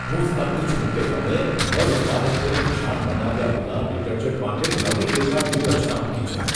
હું સ્તબ્ધ છું કે તમે ઘર ઉત્પાદકોને નિશાન બનાવ્યા વિના ડિટર્જન્ટ માટે નવી વેચાણ વ્યૂહરચના મૂકી છે.